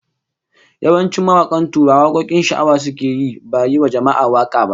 Yawancin mawakan Tuwara wakokin sha'awa suke yi, ba yiwa jama'a waka ba